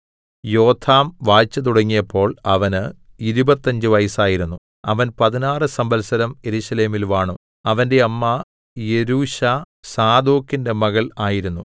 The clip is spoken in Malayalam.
യോഥാം വാഴ്ച തുടങ്ങിയപ്പോൾ അവന് ഇരുപത്തഞ്ച് വയസ്സായിരുന്നു അവൻ പതിനാറ് സംവത്സരം യെരൂശലേമിൽ വാണു അവന്റെ അമ്മ യെരൂശാ സാദോക്കിന്റെ മകൾ ആയിരുന്നു